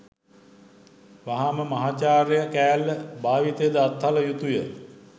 වහාම මහාචාර්ය කෑල්ල භාවිතය ද අත්හළ යුතුය